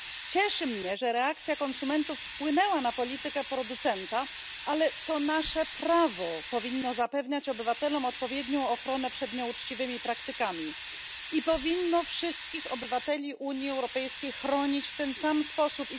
Cieszy mnie, że reakcja konsumentów wpłynęła na politykę producenta, ale to nasze prawo powinno zapewniać obywatelom odpowiednią ochronę przed nieuczciwymi praktykami i powinno wszystkich obywateli Unii Europejskiej chronić w ten sam sposób.